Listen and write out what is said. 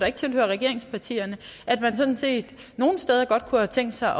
ikke tilhører regeringspartierne nogle steder godt kunne have tænkt sig